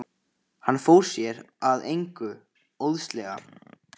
Hann fór sér að engu óðslega.